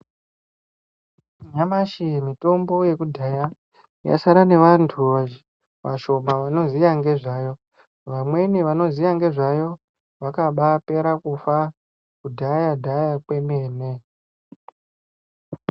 Nyamashi mitombo yekudhaya yasara nevantu vashoma vanoziya ngezvayo. Vamweni vanoziya ngezvayo vakabapera kufa kudhaya-dhaya kwemene.